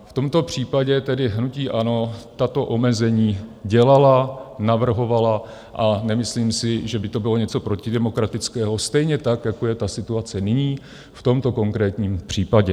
V tomto případě tedy hnutí ANO tato omezení dělalo, navrhovalo a nemyslím si, že by to bylo něco protidemokratického, stejně tak jako je ta situace nyní v tomto konkrétním případě.